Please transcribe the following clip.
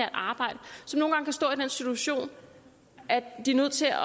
situation at de er nødt til at